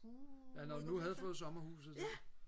ja når du nu havde fået sommerhuset så